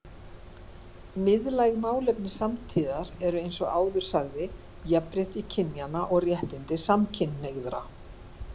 Miðlæg málefni samtíðarinnar eru eins og áður sagði jafnrétti kynjanna og réttindi samkynhneigðra.